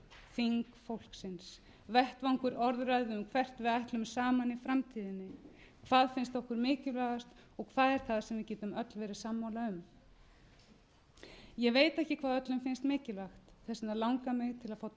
þing fólksins vettvangur orðræðu um hvert við ætlum saman í framtíðinni hvað finnst okkur mikilvægast og hvað er það sem við getum öll verið sammála um ég veit ekki hvað öllum finnst mikilvægt þess vegna langar mig til að fá